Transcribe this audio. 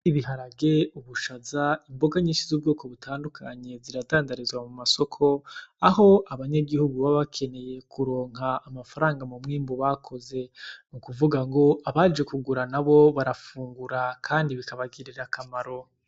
Ibiharage, ubushaza imboga nyinshi z'ubwoko butandukanye ziradandarizwa mu masoko aho abanyagihugu baba bakeneye kuronka amafaranga mu mwimbu bakoze. Nukuvugango abaje kugura nabo barafungura kandi bikabagirira akamaro.